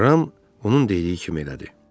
Ram onun dediyi kimi elədi.